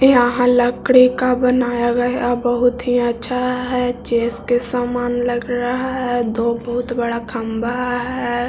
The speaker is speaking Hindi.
यह लकड़ी का बनाया गया बहुत ही अच्छा है जिस के सामान लग रहा है दो बहुत बड़ा खम्भा हैं।